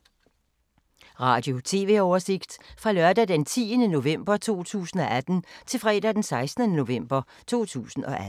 Radio/TV oversigt fra lørdag d. 10. november 2018 til fredag d. 16. november 2018